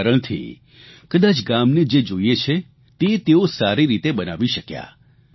આ જ કારણથી કદાચ ગામને જે જોઇએ છે તે તેઓ સારી રીતે બનાવી શક્યા